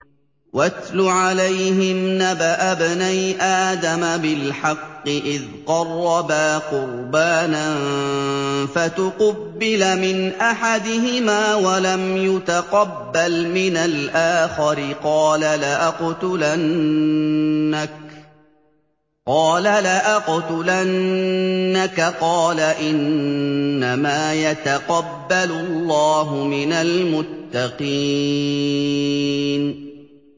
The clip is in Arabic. ۞ وَاتْلُ عَلَيْهِمْ نَبَأَ ابْنَيْ آدَمَ بِالْحَقِّ إِذْ قَرَّبَا قُرْبَانًا فَتُقُبِّلَ مِنْ أَحَدِهِمَا وَلَمْ يُتَقَبَّلْ مِنَ الْآخَرِ قَالَ لَأَقْتُلَنَّكَ ۖ قَالَ إِنَّمَا يَتَقَبَّلُ اللَّهُ مِنَ الْمُتَّقِينَ